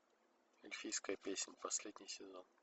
эльфийская песнь последний сезон